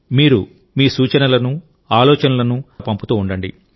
మీరు మీ సూచనలను ఆలోచనలను తప్పకుండా పంపుతూ ఉండండి